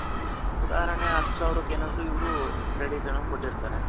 ಉದಾರಣೆ ಹತ್ತು ಸಾವಿರಕ್ಕೆನೋ ಇವ್ರು credit ಏನೋ ಕೊಟ್ಟಿರ್ತಾರೆ.